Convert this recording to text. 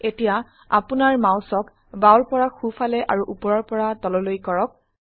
এতিয়া আপোনাৰ মাউসক বাওৰ পৰা সো ফালে আৰু উপৰৰ পৰা তললৈ কৰক